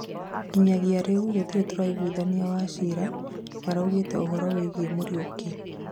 Nginyagia rĩu tutire tũraigwithania Wachira nĩaraũgire ũhoro wĩgiĩ Muriuki